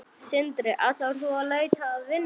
Sindri: Ætlar þú út að leita að vinnu?